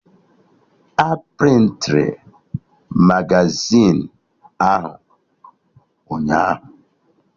A prịntịrụ Magazịn ahụ ụnyaahụ